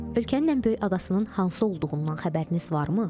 Ölkənin ən böyük adasının hansı olduğundan xəbəriniz varmı?